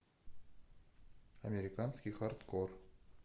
американский хардкор